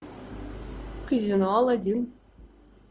казино алладин